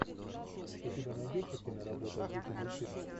у тебя найдется киноработа в духе мультфильма